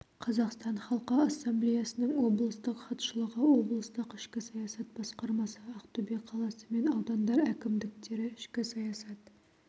қазақстан халқы ассамблеясының облыстық хатшылығы облыстық ішкі саясат басқармасы ақтөбе қаласы мен аудандар әкімдіктері ішкі саясат